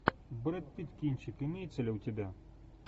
брэд питт кинчик имеется ли у тебя